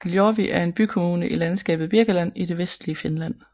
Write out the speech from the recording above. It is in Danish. Ylöjärvi er en bykommune i landskabet Birkaland i det vestlige Finland